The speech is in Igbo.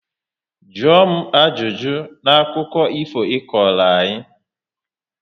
Jụọ m ajụjụ na akụkọ ifo ị kọrọ anyị!